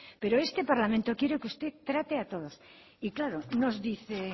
pero es que este parlamento quiere que usted trate a todos y claro nos dice